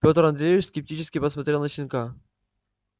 петр андреевич скептически посмотрел на щенка